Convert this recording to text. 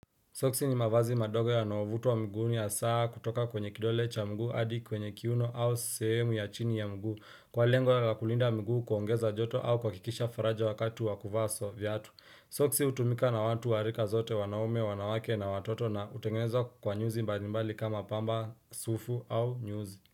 Soksi ni mavazi madogo yanayovutwa mguuni hasa kutoka kwenye kidole cha mguu hadi kwenye kiuno au sehemu ya chini ya mguu kwa lengo la kulinda mguu kuongeza joto au kwa kuhakikisha faraja wakati wa kuvaa viatu. Soksi hutumika na watu wa rika zote wanaume wanawake na watoto na hutengeneza kwa nyuzi mbalimbali kama pamba sufu au nyuzi.